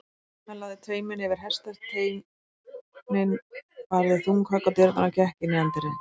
Hann lagði tauminn yfir hestasteininn, barði þung högg á dyrnar og gekk inn í anddyrið.